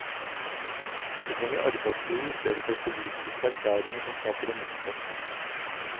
Vi trenger arbeidsro i stedet for politiske erklæringer som skaper det motsatte.